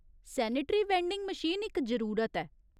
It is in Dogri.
सेनेटरी वैंडिंग मशीन इक जरूरत ऐ।